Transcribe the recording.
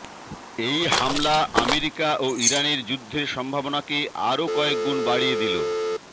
এই হামলা আমেরিকা ও ইরানের যুদ্ধের সম্ভাবনাকে আরও কয়েকগুণ বাড়িয়ে দিল